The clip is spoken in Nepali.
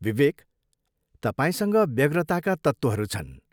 विवेक, तपाईँसँग व्यग्रताका तत्त्वहरू छन्।